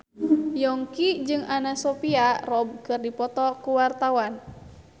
Yongki jeung Anna Sophia Robb keur dipoto ku wartawan